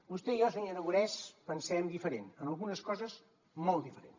vostè i jo senyor aragonès pensem diferent en algunes coses molt diferent